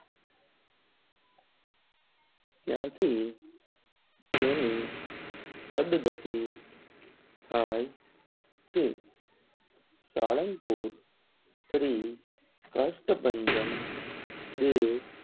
ત્યાં થી તેની સદ ગતિ થાય છે સાળંગપુર શ્રી કષ્ટભંજન ત્યાં થી તેની સદ ગતિ થાય છે.